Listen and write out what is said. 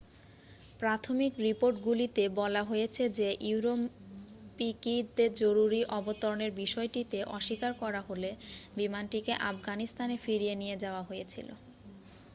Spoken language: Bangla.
প্রাথমিক রিপোর্টগুলিতে বলা হয়েছে যে ürümqi-তে জরুরি অবতরণের বিষয়টিতে অস্বীকার করা হলে বিমানটিকে আফগানিস্তানে ফিরিয়ে নিয়ে যাওয়া হয়েছিল।